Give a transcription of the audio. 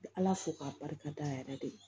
Ala fo k'a barika da yɛrɛ de ye